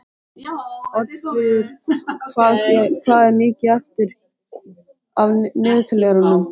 Oddfríður, hvað er mikið eftir af niðurteljaranum?